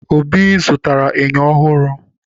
Obi zụtara enyo ọhụrụ